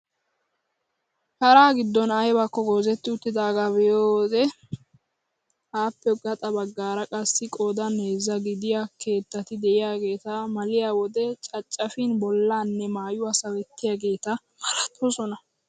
Shara giddon aybakko goozetti uttidagaa be'iyoo wode appe gaxa baggaara qassi qoodan heezzaa gidiyaa keettati de'iyaageti maliyoo wode caccapin bollaanne maayuwaa sawettiyaageta malatoosona!